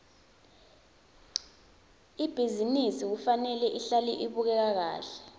ibhizinisi kufanele ihlale ibukeka kahle